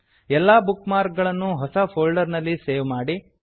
ಎಲ್ಲಾ bookmark ಗಳನ್ನೂ ಹೊಸ ಫೋಲ್ಡರ್ ನಲ್ಲಿ ಸೇವ್ ಮಾಡಿ